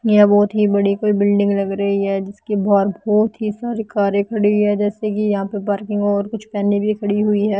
यहाँ बहुत ही बड़ी कोई बिल्डिंग लग रही है जिसके बाहर बहुत ही सारी कारें खड़ी हुई है जैसे कि यहाँ पर पार्किंग और कुछ वैने भी खड़ी हुई है।